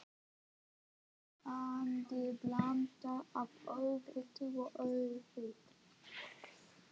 Heillandi blanda af óvita og ofvita.